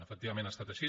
efectivament ha estat així